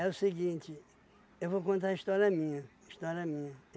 o seguinte, eu vou contar a história minha história minha,